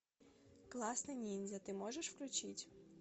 классный ниндзя ты можешь включить